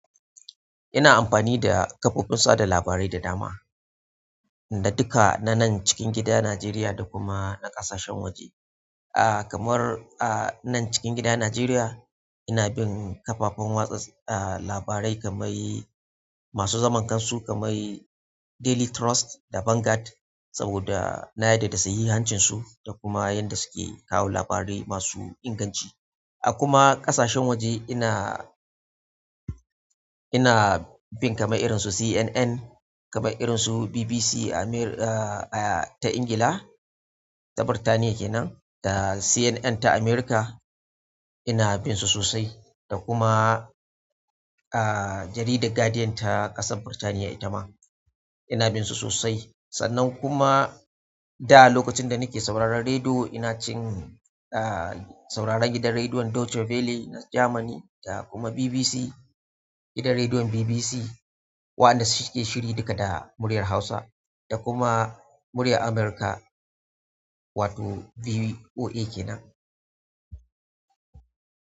Ina amfani da kafofin sada labarai da dama, da duka na nan cikin gida Najeriya da kuma na ƙasashen waje. A kamar a nan cikin gida Najeriya, ina bin kafafen watsa, ah, labarai kamar masu zaman kansu kamar Daily Trust da Vanguard saboda na yarda da sahihancinsu da kuma yanda suke kawo labarai masu inganci. A kuma ƙasashen waje ina, ina bin kamar irinsu CNN, kamar irinsu BBC Amir, ah, ta Ingila, ta Birtaniya kenan da CNN ta America ina binsu sosai da kuma, ah, jaridar Guardian ta ƙasan Birtaniya ita ma ina binsu sosai. Sannan kuma da lokacin da nake sauraron rediyo ina cin, ah, sauraron gidan rediyon Deutsche Welle na Jamani da kuma BBC, gidan rediyon BBC waɗanda suke shiri duka da muryar Hausa da kuma muryar amurka wato voa kenan.